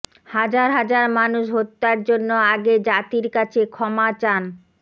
হাজার হাজার মানুষ হত্যার জন্য আগে জাতির কাছে ক্ষমা চান